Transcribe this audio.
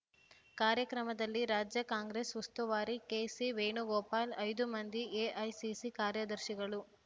ಕಾರ್ಯಕ್ರಮದಲ್ಲಿ ರಾಜ್ಯ ಕಾಂಗ್ರೆಸ್‌ ಉಸ್ತುವಾರಿ ಕೆಸಿ ವೇಣುಗೋಪಾಲ್‌ ಐದು ಮಂದಿ ಎಐಸಿಸಿ ಕಾರ್ಯದರ್ಶಿಗಳು